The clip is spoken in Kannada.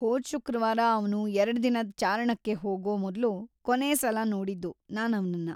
ಹೋದ್ ಶುಕ್ರವಾರ ಅವ್ನು ಎರಡ್ ದಿನದ್ ಚಾರಣಕ್ಕೆ ಹೋಗೋ ಮೊದ್ಲು ಕೊನೇ ಸಲ ನೋಡಿದ್ದು ನಾನ್ ಅವ್ನನ್ನ.